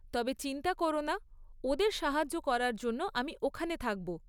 তবে চিন্তা কোরো না, ওঁদের সাহায্য করার জন্য আমি ওখানে থাকব।